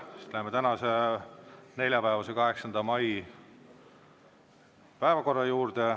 Siis läheme tänase, neljapäevase, 8. mai päevakorra juurde.